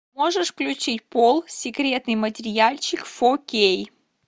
можешь включить пол секретный материальчик фо кей